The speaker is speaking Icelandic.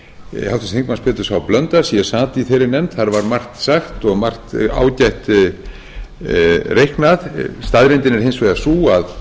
háttvirtur þingmaður péturs h blöndals ég sat í þeirri nefnd þar var margt sagt og margt ágætt reiknað staðreyndin er hins vegar sú að